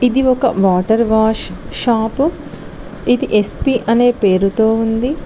ఇది ఒక water wash shop ఇది ఎస్పీ అనే పేరుతో ఉంది.